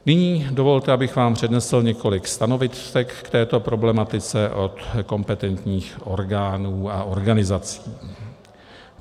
Nyní dovolte, abych vám přednesl několik stanovisek k této problematice od kompetentních orgánů a organizací.